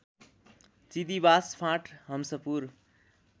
Chidibas Phant Hanspur